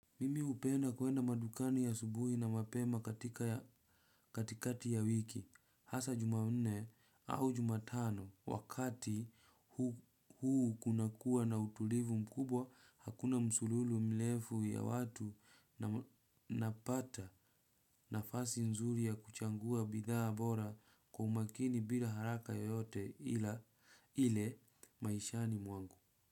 Mimi hupenda kuenda madukani asubuhi na mapema katika ya katikati ya wiki. Hasa Jumanne au Jumatano wakati huu kunakuwa na utulivu mkubwa hakuna msululu mrefu ya watu napata nafasi nzuri ya kuchagua bidhaa bora kwa umakini bila haraka yoyote ile maishani mwangu.